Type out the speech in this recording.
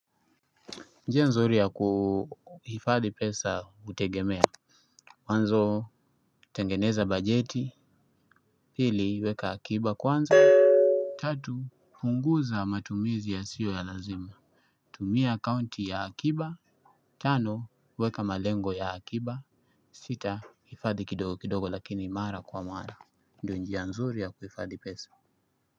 Njie nzuri ya kuhifadhi pesa utegemea mwanzo tengeneza bajeti pili weka akiba kwanza. Tatu punguza matumizi yasio ya lazima. Tumia akaunti ya akiba. Tano weka malengo ya akiba. Sita hifadhi kidogo kidogo lakini mara kwa mara ndo njia nzuri ya kuhifadhi pesa.